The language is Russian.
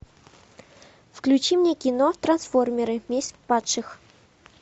включи мне кино трансформеры месть падших